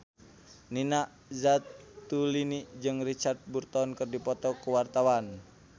Nina Zatulini jeung Richard Burton keur dipoto ku wartawan